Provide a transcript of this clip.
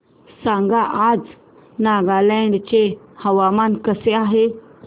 सांगा आज नागालँड चे हवामान कसे आहे